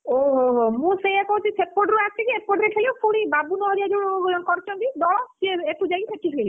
ଓହୋ ହୋ ହୋ ମୁଁ ସେୟା କହୁଛି ସେପଟରୁ ଆସିକି ଏପଟରେ ଖେଳିବା ପୁଣି ବାବୁନୁ ହରିକା ଯୋଉ କରୁଛନ୍ତି ଦଳ ସିଏ ଏଠୁ ଯାଇ ସେଠି ଖେଳିବେ!